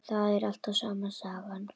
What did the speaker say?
Það er alltaf sama sagan.